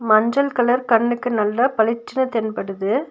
மஞ்சள் கலர் கண்ணுக்கு நல்லா பளிச்சினு தென்படுது.